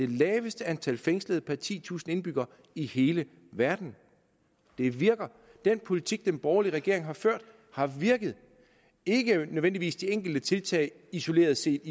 det laveste antal fængslede per titusind indbyggere i hele verden det virker den politik den borgerlige regering har ført har virket ikke nødvendigvis de enkelte tiltag isoleret set